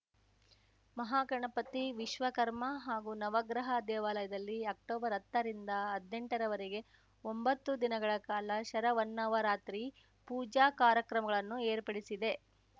ಮಹಾಗಣಪತಿ ವಿಶ್ವಕರ್ಮ ಹಾಗೂ ನವಗ್ರಹ ದೇವಾಲಯದಲ್ಲಿ ಅಕ್ಟೊಬರ್ಹತ್ತರಿಂದ ಹದ್ನೆಂಟ ರವರೆಗೆ ಒಂಬತ್ತು ದಿನಗಳ ಕಾಲ ಶರವನ್ನವರಾತ್ರಿ ಪೂಜಾ ಕಾರ್ಯಕ್ರಮಗಳನ್ನು ಏರ್ಪಡಿಸಿದೆ